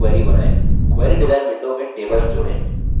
query design window में tables जोड़ें